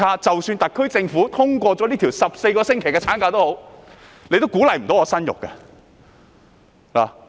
即使特區政府通過了14個星期產假也無法鼓勵他們生育。